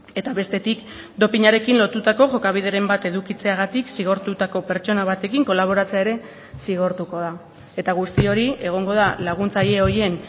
eta bestetik dopinarekin lotutako jokabideren bat edukitzeagatik zigortutako pertsona batekin kolaboratzea ere zigortuko da eta guzti hori egongo da laguntzaile horien